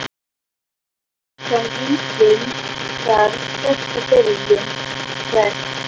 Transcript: Vill hann enginn, þarf ferska byrjun Hvert?